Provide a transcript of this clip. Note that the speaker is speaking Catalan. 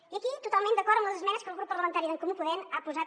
i aquí totalment d’acord amb les esmenes que el grup parlamentari d’en comú podem ha posat